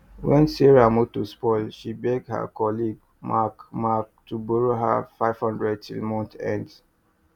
when sarah motor spoil she beg her colleague mark mark to borrow her five hundred till month end